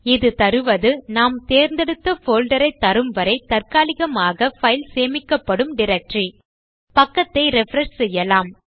இது தருவது நாம் தேர்ந்தெடுத்த போல்டர் ஐ தரும் வரை தற்காலிகமாக பைல் சேமிக்கப்படும் டைரக்டரி பக்கத்தை ரிஃப்ரெஷ் செய்யலாம்